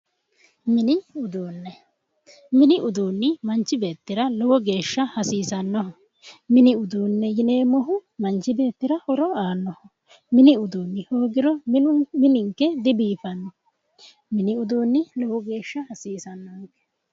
Mini uduune mini uduunni manichi beetira lowo geesha hasiisannoho mini uduune yineemohu manichi beetira horo aanoho mini uduunni hoogiro mininke dibiifanno mini uduunni lowo geesha hasiisannoho